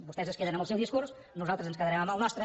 vostès es queden amb el seu discurs nosaltres ens quedarem amb el nostre